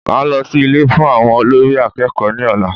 Màá lọ sí Ilé fún àwọn olórí akẹ́kọ̀ọ́ ní ọ̀la